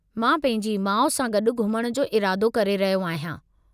मां पंहिंजी माउ सां गॾु घुमण जो इरादो करे रहियो आहियां।